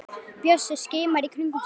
Bjössi skimar í kringum sig.